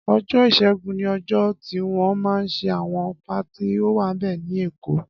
Ọjọ iṣẹgùn ni ọjọ tiwọn mà n ṣé awọn páàtí ówàmbẹ̀ ni Ékó